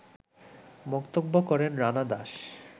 মন্তব্য করেন রানা দাস